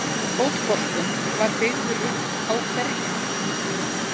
Fótboltinn var byggður upp á hverju?